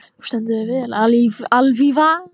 Þú stendur þig vel, Alfífa!